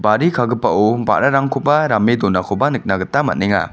bari kagipao ba·rarangkoba rame donakoba nikna gita man·enga.